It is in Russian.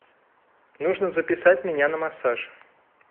нужно записать меня на массаж